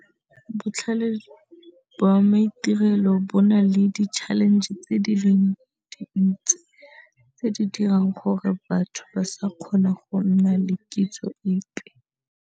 Botlhale ba maitirelo bo na le di-challenge tse di leng dintsi tse di dirang gore batho ba sa kgona go nna le kitso epe.